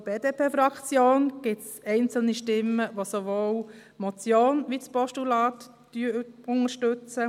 Von der BDP-Fraktion gib es einzelne Stimmen, die sowohl die Motion als auch das Postulat unterstützen;